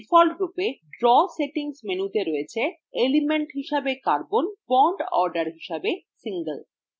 ডিফল্টরূপে draw settings মেনুতে রয়েছে element হিসেবে carbon এবং bond order হিসেবে single